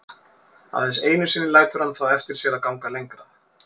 Aðeins einu sinni lætur hann það eftir sér að ganga lengra.